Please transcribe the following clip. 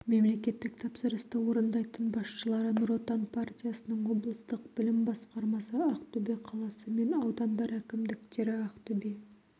мемлекеттік тапсырысты орындайтын басшылары нұр отан партиясының облыстық білім басқармасы ақтөбе қаласы мен аудандар әкімдіктері ақтөбе